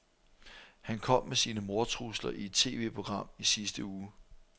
Han kom med sine mordtrusler i et TVprogram i sidste uge.